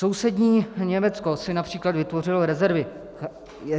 Sousední Německo si například vytvořilo rezervy.